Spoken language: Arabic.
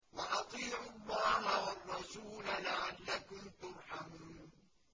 وَأَطِيعُوا اللَّهَ وَالرَّسُولَ لَعَلَّكُمْ تُرْحَمُونَ